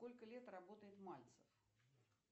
сколько лет работает мальцев